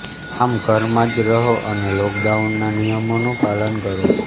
આમ ઘરમાં જ રહો અને લોકડાઉનના નિયમોનું પાલન કરો